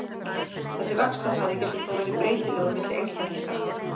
Þessi vaxtarhraði getur þó verið breytilegur milli einstaklinga.